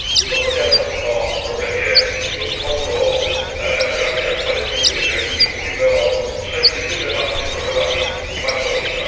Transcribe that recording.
Rozmawiając o problemie Bliskiego Wschodu, o relacjach palestyńsko izraelskich, mówimy o trzech niezwykle ważnych problemach i wartościach.